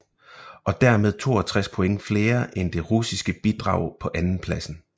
Og dermed 62 point flere end det russiske bidrag på andenpladsen